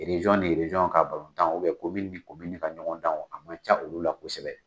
ka o kɛ ka ɲɔgɔn danw a ma ca olu la kosɛbɛ.